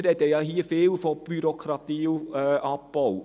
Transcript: Wir sprechen hier oft von Bürokratieabbau.